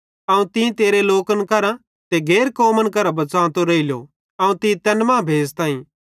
अवं तीं तेरे लोकन करां ते गैर कौमन करां बच़ांतो रेइलो अवं तीं तैन मां भेज़ताईं